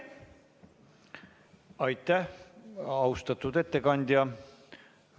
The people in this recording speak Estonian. Aitäh, austatud ettekandja!